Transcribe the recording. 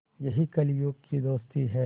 यही कलियुग की दोस्ती है